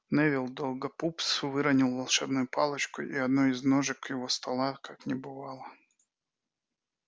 невилл долгопупс выронил волшебную палочку и одной из ножек его стола как не бывало